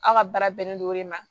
Aw ka baara bɛnnen don o de ma